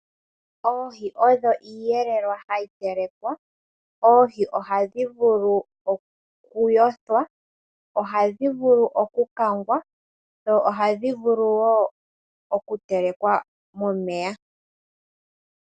Oohi odho iiyelelwa hayi telekwa. Oohi ohadhi vulu okuyothwa, ohadhi vulu okukangwa, dho ohadhi vulu wo okutelekwa momeya.